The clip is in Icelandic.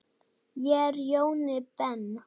Ég er Jóni Ben.